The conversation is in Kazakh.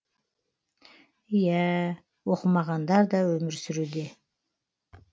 иәә оқымағандар да өмір сүруде